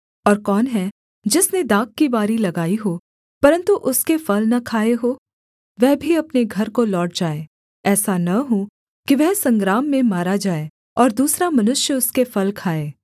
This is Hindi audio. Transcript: और कौन है जिसने दाख की बारी लगाई हो परन्तु उसके फल न खाए हों वह भी अपने घर को लौट जाए ऐसा न हो कि वह संग्राम में मारा जाए और दूसरा मनुष्य उसके फल खाए